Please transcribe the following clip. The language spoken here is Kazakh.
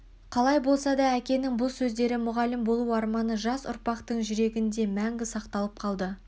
қалай болса да әкенің бұл сөздері мұғалім болу арманы жас ұрпақтың жүрегінде мәнгі сақталып қалды